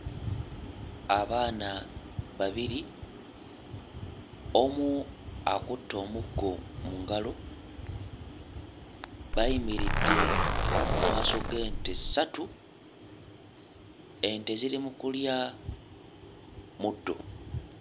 Abaana babiri, omu akutte omuggo mu ngalo. Bayimiridde mu maaso g'ente ssatu, ente ziri mu kulya muddo.